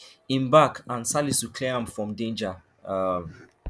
im back and salisu clear am from danger um